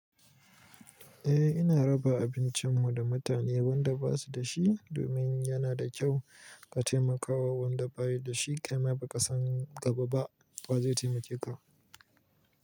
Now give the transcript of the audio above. Eh ina raba abincin mu da mutane wanda ba su da shi domin yana da kyau ka taimakawa wanda ba yi da shi. Kai ma ba ka san gaba ba wa zai taimake ka.